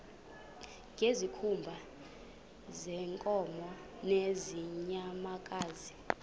ngezikhumba zeenkomo nezeenyamakazi